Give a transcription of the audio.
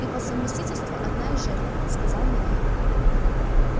и по совместительству одна из жертв сказал михаил